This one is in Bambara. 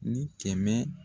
Ni kɛmɛ